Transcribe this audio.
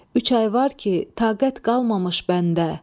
Üç ay var ki, taqət qalmamış məndə.